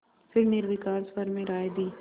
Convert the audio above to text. फिर निर्विकार स्वर में राय दी